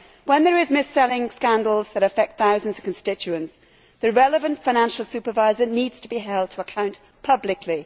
When there are mis selling scandals which affect thousands of constituents, the relevant financial supervisor needs to be held to account publicly.